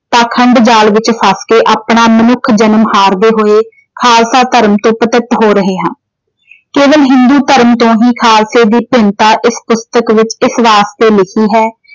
ਪਾਖੰਡ ਜਾਲ ਵਿੱਚ ਫਸ ਕੇ ਆਪਣਾ ਮਨੁੱਖ ਜਨਮ ਹਾਰਦੇ ਹੋਏ ਖਾਲਸਾ ਧਰਮ ਤੋਂ ਪਤਿਤ ਹੋ ਰਹੇ ਹਾਂ। ਕੇਵਲ ਹਿੰਦੂ ਧਰਮ ਤੋਂ ਹੀ ਖਾਲਸੇ ਦੀ ਭਿੰਨਤਾ ਇਸ ਪੁਸਤਕ ਵਿੱਚ ਇਸ ਵਾਸਤੇ ਲਿਖੀ ਹੈ।